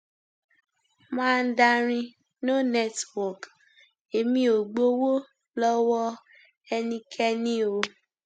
mandarin no network èmi ò gbowó lọwọ ẹnikẹni o